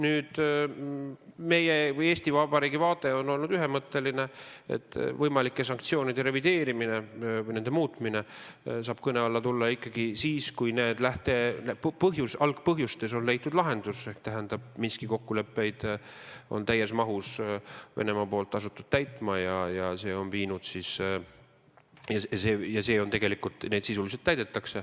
Meie või siis Eesti Vabariigi vaade on olnud ühemõtteline: võimalike sanktsioonide revideerimine või nende muutmine saab kõne alla tulla ikkagi siis, kui lähtepõhjustes, algpõhjustes on leitud lahendus ehk et Venemaa on asunud Minski kokkuleppeid täies mahus täitma ja neid sisuliselt ka täidab.